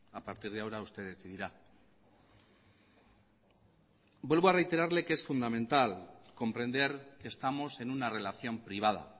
a partir de ahora usted decidirá vuelvo a reiterarle que es fundamental comprender que estamos en una relación privada